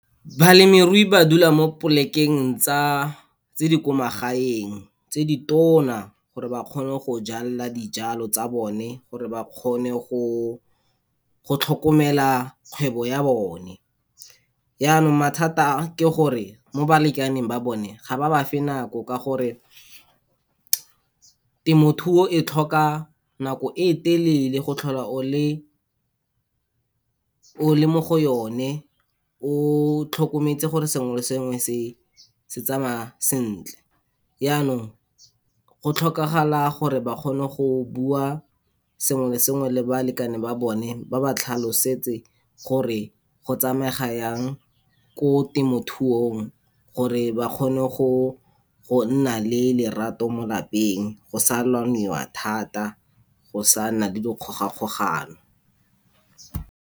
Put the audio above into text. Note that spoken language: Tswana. Balemirui ba dula mo plek-eng tsa, tse di ko magaeng, tse di tona gore ba kgone go jala dijalo tsa bone, gore ba kgone go, go tlhokomela kgwebo ya bone. Yanong mathata a, ke gore mo balekaneng ba bone, ga ba ba fe nako ka gore, temothuo e tlhoka nako e telele go tlhola o le, o le mo go yone, o tlhokometse gore sengwe le sengwe se se tsamaya sentle. Yanong go tlhokagala gore ba kgone go bua sengwe le sengwe le balekane ba bone, ba ba tlhalosetse gore go tsamaega yang ko temothuong, gore ba kgone go, gonna le lerato mo lapeng, go sa lwaniwa thata, go sa nna le dikgogakgogano.